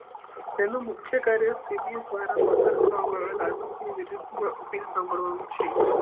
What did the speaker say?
તેનું મુખ્ય કાર્ય સી બી એસ દ્વારા પસાર કરવા મા આવેલા અપીલ શામ્ભ્ડવાનું છે